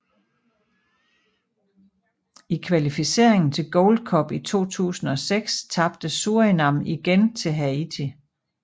I kvalificeringen til Gold Cup i 2006 tabte Surinam igen til Haiti